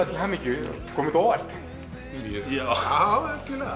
til hamingju kom þetta á óvart já